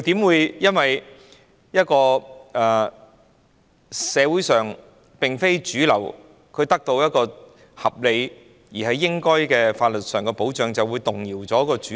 怎可能因社會上非主流人士得到合理、應有的法律保障權利而動搖主流？